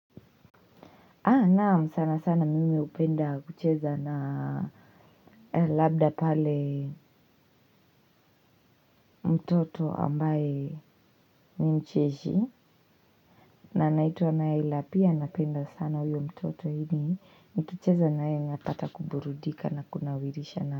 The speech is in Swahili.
Haa naam sana sana mimi hupenda kucheza na labda pale mtoto ambaye ni mcheshi. Na anaituwa nyla pia napenda sana huyo mtoto yani. Nikicheza naye napata kuburudika na kunawirisha na.